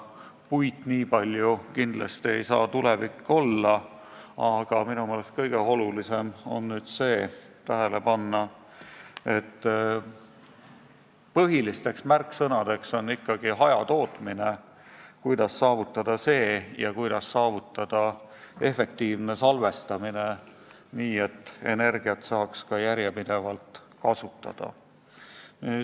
Puit ei saa nii palju kindlasti tulevikulahendus olla, aga minu meelest kõige olulisem on tähele panna, et põhiline märksõna on ikkagi hajatootmine, see, kuidas seda saavutada, ja see, kuidas saavutada efektiivset salvestamist, nii et energiat saaks ka järjepidevalt kasutada.